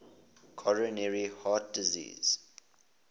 coronary heart disease